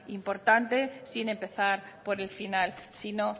importante sin empezar por el final sino